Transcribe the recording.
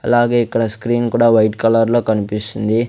అలాగే ఇక్కడ స్క్రీన్ కూడా వైట్ కలర్ లో కన్పిస్తుంది.